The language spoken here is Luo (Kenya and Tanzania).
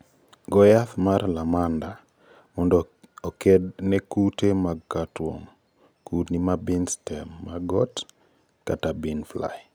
Goo yath mar lamda Cyhalothrin mondo oked ne kute mag cutworm. Kudni ma bean stem maggot (bean fly) ophiomyia spp